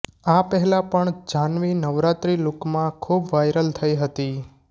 આ પહેલા પણ જ્હાનવી નવરાત્રિ લૂકમાં ખુબ વાયરલ થઈ હતી